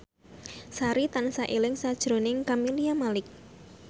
Sari tansah eling sakjroning Camelia Malik